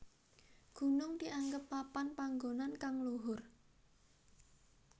Gunung dianggep papan panggonan kang luhur